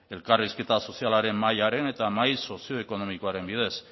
elkarrizketa sozialaren mahaiaren eta mahai sozioekonomikoaren bidez